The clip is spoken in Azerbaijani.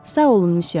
Sağ olun, müsyö.